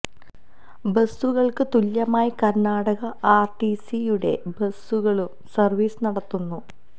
ബസ്സുകള്ക്ക് തുല്യമായി Karnataka R T C യുടെ ബസ്സുകളും സര്വീസ് നടത്തുന്നു